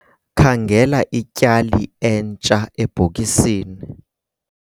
Khangela ityali entsha ebhokisini.